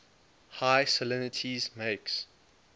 high salinities makes